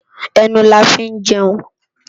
Enú là fi n jèun